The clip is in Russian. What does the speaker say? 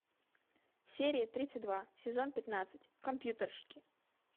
серия тридцать два сезон пятнадцать компьютерщики